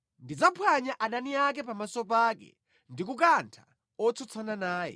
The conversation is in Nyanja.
Ndidzaphwanya adani ake pamaso pake ndi kukantha otsutsana naye.